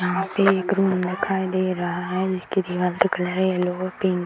यहाँ पे एक रूम दिखाई दे रहा है इसके दीवाल के कलर है येल्लो पिंक ।